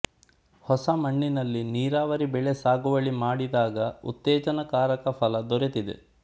ಹೊಸ ಮಣ್ಣಿನಲ್ಲಿ ನೀರಾವರಿ ಬೆಳೆ ಸಾಗುವಳಿ ಮಾಡಿದಾಗ ಉತ್ತೇಜನಕಾರಕ ಫಲ ದೊರೆತಿದೆ